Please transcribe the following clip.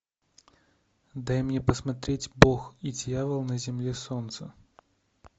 дай мне посмотреть бог и дьявол на земле солнца